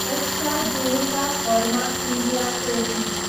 AstraZeneca pharma India Ltd